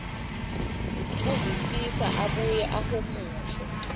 kuvisisa abuye ahumushe